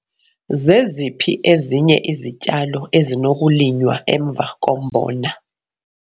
Zeziphi ezinye izityalo ezinokulinywa emva kombona?